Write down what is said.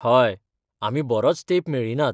हय, आमी बरोच तेंप मेळ्ळीं नात.